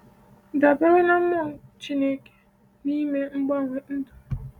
Dabere na Mmụọ Chineke n’ime mgbanwe ndụ.